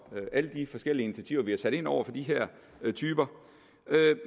alle de forskellige initiativer vi har sat i værk over for de her typer